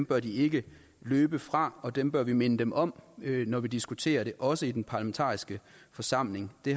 bør de ikke løbe fra og dem bør vi minde dem om når vi diskuterer det også i den parlamentariske forsamling det